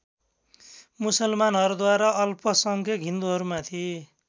मुसलमानहरूद्वारा अल्पसङ्ख्यक हिन्दुहरूमाथि